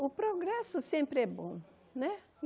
O progresso sempre é bom né.